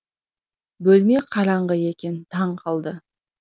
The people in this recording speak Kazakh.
бөлме қараңғы екен таң қалды